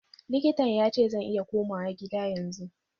Likitan yace zan iya komawa gida yanzu.